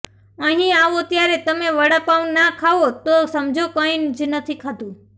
અહીં આવો ત્યારે તમે વડા પાવ ના ખાઓ તો સમજો કંઇ જ નથી ખાધું